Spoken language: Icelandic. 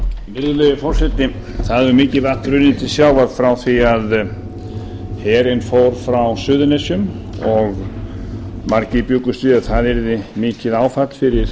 virðulegi forseti það hefur mikið vatn runnið til sjávar frá því að herinn fór frá suðurnesjum og margir bjuggust við að það yrði mikið áfall fyrir